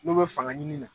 N'u bɛ fanga ɲini na